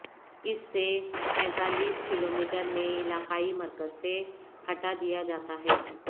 اس سے پینتالیس کلومیٹر میں علاقائی مرکز سے ہٹا دیا جاتا ہے